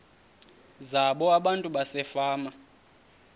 zabo abantu basefama